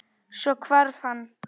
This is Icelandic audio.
Svo hvarf hann.